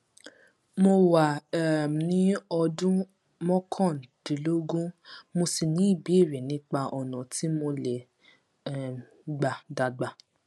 mo wà um ní ọdún mókàndínlógún mo sì ní ìbéèrè nípa ọnà tí mo lè um gbà dàgbà